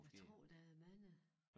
Jeg tror der er mange